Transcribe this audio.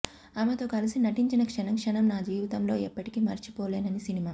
ఆమెతో కలసి నటించిన క్షణం క్షణం నా జీవితంలో ఎప్పటికీ మరిచిపోలేనని సినిమా